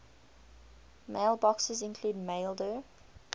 mailboxes include maildir